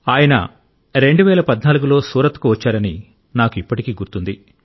ఆయన 2014 లో సూరత్ కు వచ్చారని నాకు ఇప్పటికీ గుర్తుంది